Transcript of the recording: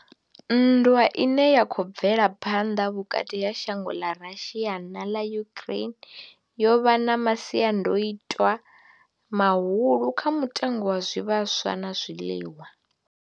Nndwa ine ya khou bvela phanḓa vhukati ha shango ḽa Russia na ḽa Ukraine yo vha na masiandoitwa mahulwane kha mutengo wa zwivhaswa na zwiḽiwa.